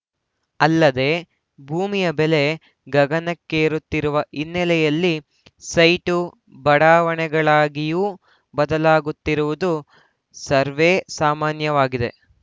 ಅಲ್ಲದೇ ಭೂಮಿಯ ಬೆಲೆ ಗಗನಕ್ಕೇರುತ್ತಿರುವ ಹಿನ್ನೆಲೆಯಲ್ಲಿ ಸೈಟು ಬಡಾವಣೆಗಳಾಗಿಯೂ ಬದಲಾಗುತ್ತಿರುವುದು ಸರ್ವೆ ಸಾಮಾನ್ಯವಾಗಿದೆ